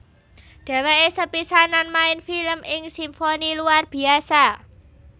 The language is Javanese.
Dheweke sepisanan main film ing Simfoni Luar Biasa